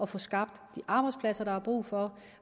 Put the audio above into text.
få skabt de arbejdspladser der er brug for